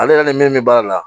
Ale yɛrɛ ni min bɛ baara la